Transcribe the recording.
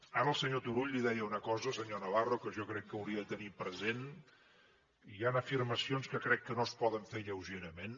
ara el senyor turull li deia una cosa senyor navarro que jo crec que hauria de tenir present hi han afirmacions que crec que no es poden fer lleugerament